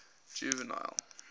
juvenal